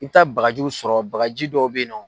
I bɛ taa bagajiw sɔrɔ, bagaji dɔ bɛ yen nɔ.